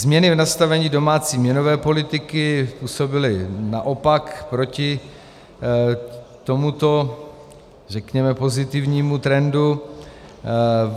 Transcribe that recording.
Změny v nastavení domácí měnové politiky působily naopak proti tomuto, řekněme, pozitivnímu trendu.